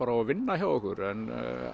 og vinna hjá okkur en